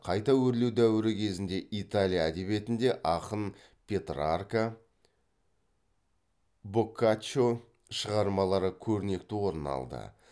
қайта өрлеу дәуірі кезіндегі италия әдебиетінде ақын петрарка боккаччо шығармалары көрнекті орын алды